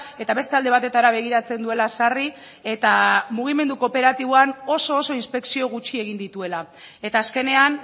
eta beste alde batetara begiratzen duela sarri eta mugimendu kooperatiboan oso oso inspekzio gutxi egin dituela eta azkenean